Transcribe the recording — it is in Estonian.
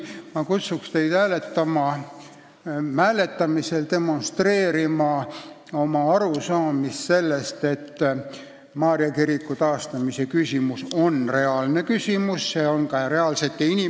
Ma kutsun teid hääletamisel demonstreerima oma arusaamist sellest, et Maarja kiriku taastamise küsimus on reaalne, mitte formaalne juriidiline küsimus.